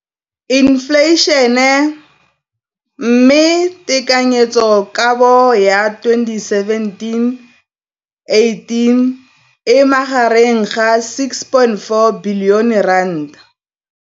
Infleišene, mme tekanyetsokabo ya 2017, 18, e magareng ga R6.4 bilione.